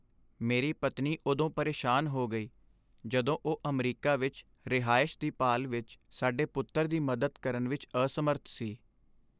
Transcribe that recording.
ਮੇਰੀ ਪਤਨੀ ਉਦੋਂ ਪਰੇਸ਼ਾਨ ਹੋ ਗਈ ਜਦੋਂ ਉਹ ਅਮਰੀਕਾ ਵਿੱਚ ਰਿਹਾਇਸ਼ ਦੀ ਭਾਲ ਵਿੱਚ ਸਾਡੇ ਪੁੱਤਰ ਦੀ ਮਦਦ ਕਰਨ ਵਿੱਚ ਅਸਮਰੱਥ ਸੀ।